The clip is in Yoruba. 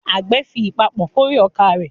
Àgbẹ̀ ń fi ìpapọ̀ kórè ọkà rẹ̀.